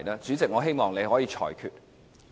主席，請你作出裁決。